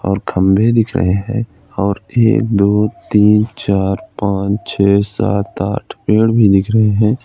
और खम्भे दिख रहे हैं और एक दो तीन चार पांच छे सात आठ पेड़ भी दिख रहे हैं।